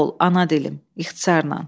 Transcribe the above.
Sağ ol, ana dilim, ixtisarla.